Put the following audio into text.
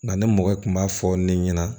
Nka ni mɔgɔ kun b'a fɔ ne ɲɛna